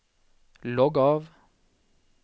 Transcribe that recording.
logg av